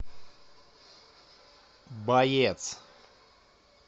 боец